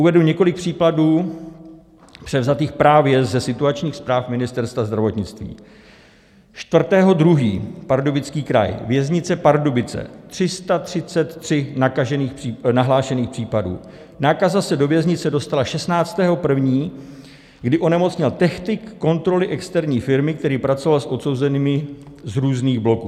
Uvedu několik případů, převzatých právě ze situačních zpráv Ministerstva zdravotnictví: 4. 2., Pardubický kraj, Věznice Pardubice, 333 nahlášených případů, nákaza se do věznice dostala 16. 1., kdy onemocněl technik kontroly externí firmy, který pracoval s odsouzenými z různých bloků;